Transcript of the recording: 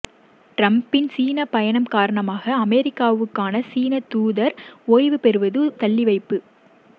டிரம்பின் சீன பயணம் காரணமாக அமெரிக்காவுக்கான சீன தூதர் ஓய்வு பெறுவது தள்ளிவைப்பு